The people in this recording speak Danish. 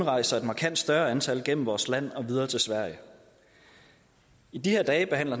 rejser et markant større antal igennem vores land og videre til sverige i de her dage behandler